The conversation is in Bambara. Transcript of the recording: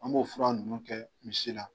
An m'o fura ninnu kɛ misi la.